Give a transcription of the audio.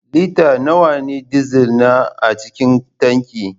Lita nawa na dizal ne a cikin tanki?